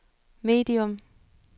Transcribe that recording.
medium